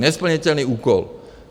Nesplnitelný úkol.